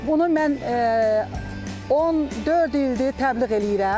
Bunu mən 14 ildir təbliğ eləyirəm.